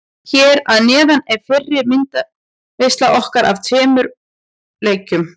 Hér að neðan er fyrri myndaveisla okkar af tveimur úr leiknum.